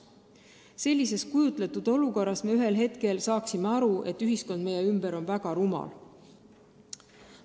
Sellises kujutletud olukorras me ühel hetkel saaksime aru, et ühiskond meie ümber on väga rumal.